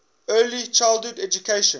early childhood education